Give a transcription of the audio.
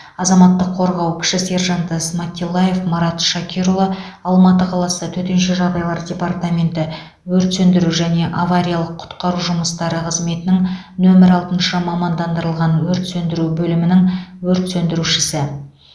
азаматтық қорғау кіші сержанты сматиллаев марат шакирұлы алматы қаласы төтенше жағдайлар департаменті өрт сөндіру және авариялық құтқару жұмыстары қызметінің нөмірі алтыншы мамандандырылған өрт сөндіру бөлімінің өрт сөндірушісі